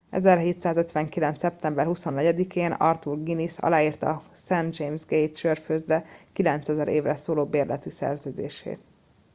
1759. szeptember 24 én arthur guinness aláírta a st james gate' sörfőzde 9000 évre szóló bérleti szerződését